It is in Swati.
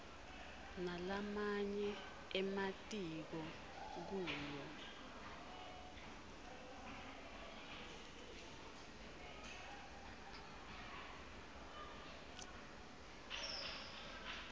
nalamanye ematiko kuyo